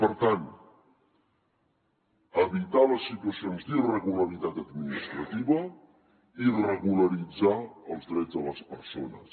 per tant evitar les situacions d’irregularitat administrativa i regularitzar els drets de les persones